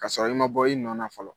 Ka sɔrɔ i ma bɔ i nɔ na fɔlɔ